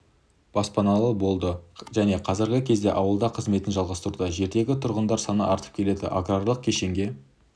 баспаналы болды және қазіргі кезде ауылда қызметін жалғастыруда жердегі тұрғындар саны артып келеді аграрлық кешенге